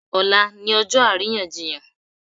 Ọ̀la ni ọjọ́ àríyànjiyàn.